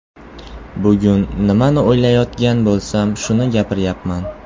Bugun nimani o‘ylayotgan bo‘lsam, shuni gapiryapman.